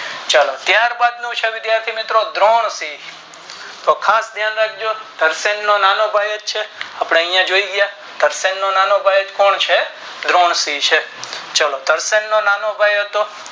ચાલો ત્યારબાદ વિધાથી મિત્રો વિરાશિ તો ઘાસ ધય્ન યાખજો ઘર્ષણો નો નેનો ભાઈ જ છે આપણે આયા જોય ગયા ઘર્ષણ નો નાનો ભાઈ કોણ છે વિરાશિ છે